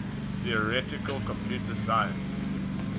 theoretical computer science